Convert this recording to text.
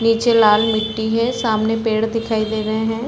नीचे लाल मिटटी हे सामने पेड़ दिखाई दे रहे हैं ।